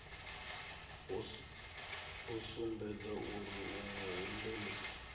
a sumbedze uri u muhumbeli